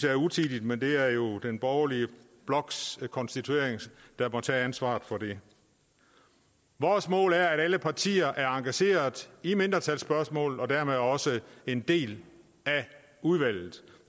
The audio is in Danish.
er utidigt men det er jo den borgerlige bloks konstituering der må tage ansvaret for det vores mål er at alle partier er engageret i mindretalsspørgsmålet og dermed også en del af udvalget